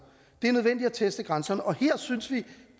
det er nødvendigt at teste grænserne og her synes vi